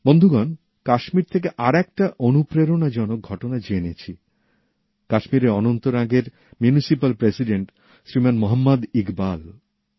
বন্ধুগণ কাশ্মীর থেকে আরেকটা অনুপ্রেরণাজনক ঘটনার কথা জেনেছি কাশ্মীরের অনন্তনাগের মিউনিসিপ্যাল প্রেসিডেন্ট শ্রীমান মোহাম্মদ ইকবাল